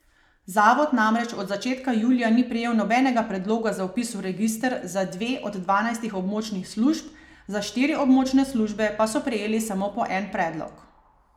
Zavod namreč do začetka julija ni prejel nobenega predloga za vpis v register za dve od dvanajstih območnih služb, za štiri območne službe pa so prejeli samo po en predlog.